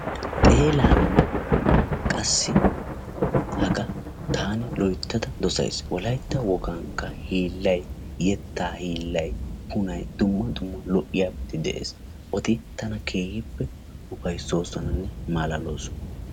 Xeelaanne hagaa taani loyttada dosayis wolaytta wogankka hiillayi yettaa hiillayi punayi dumma dumma lo"iyabati de"es. Eti tana keehippe ufayssoosonanne malaaloosona.